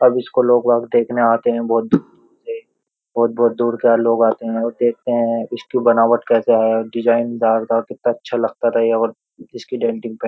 अब इसको लोग अब देखने आते हैं बहुत दूर-दूर से। बोहोत बोहोत दूर के लोग आते हैं और देखते हैं इसकी बनावट कैसे है डिज़ाइनरदार था कितना अच्छा लगता था ये और इसकी डेन्टिंग पेंट --